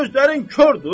Gözlərin kordur?